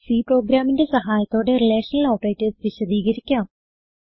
C പ്രോഗ്രാമിന്റെ സഹായത്തോടെ relational operators വിശദീകരിക്കാം